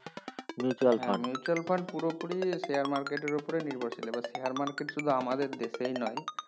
হ্যাঁ mutual fund পুরোপুরি share market এর উপরে নির্ভরশীল এবার share market শুধু আমাদের দেশেই নয়